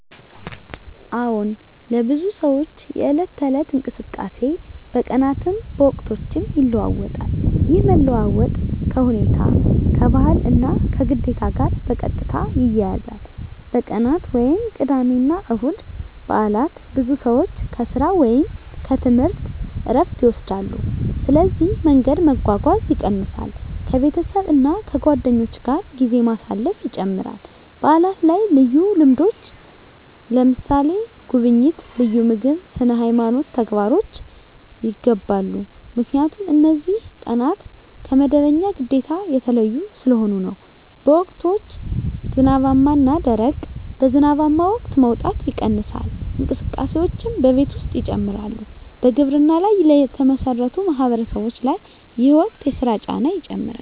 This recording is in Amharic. አዎን፣ ለብዙ ሰዎች የዕለት ተዕለት እንቅስቃሴ በቀናትም በወቅቶችም ይለዋዋጣል። ይህ መለዋወጥ ከሁኔታ፣ ከባህል እና ከግዴታ ጋር በቀጥታ ይያያዛል። በቀናት (ቅዳሜ፣ እሁድ፣ በዓላት): ብዙ ሰዎች ከሥራ ወይም ከትምህርት ዕረፍት ይወስዳሉ፣ ስለዚህ መንገድ መጓጓዝ ይቀንሳል ከቤተሰብ እና ከጓደኞች ጋር ጊዜ ማሳለፍ ይጨምራል በዓላት ላይ ልዩ ልምዶች (ጉብኝት፣ ልዩ ምግብ፣ ስነ-ሃይማኖት ተግባሮች) ይገባሉ 👉 ምክንያቱም እነዚህ ቀናት ከመደበኛ ግዴታ የተለዩ ስለሆኑ ነው። በወቅቶች (ዝናባማ እና ደረቅ): በዝናባማ ወቅት መውጣት ይቀንሳል፣ እንቅስቃሴዎችም በቤት ውስጥ ይጨምራሉ በግብርና ላይ የተመሠረቱ ማህበረሰቦች ላይ ይህ ወቅት የሥራ ጫና ይጨምራል